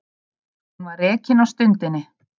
Hún var rekin á stundinni